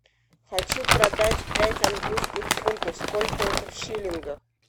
хочу продать пять английских фунтов сколько это в шиллингах